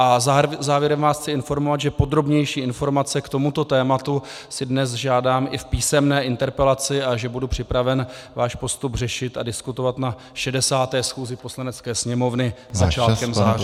A závěrem vás chci informovat, že podrobnější informace k tomuto tématu si dnes žádám i v písemné interpelaci a že budu připraven váš postup řešit a diskutovat na 60. schůzi Poslanecké sněmovny začátkem září.